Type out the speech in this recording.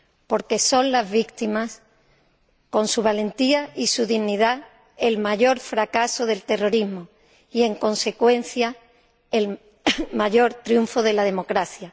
Porque son las víctimas, con su valentía y su dignidad, el mayor fracaso del terrorismo y, en consecuencia, el mayor triunfo de la democracia.